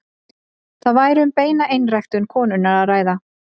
Þá væri um beina einræktun konunnar að ræða.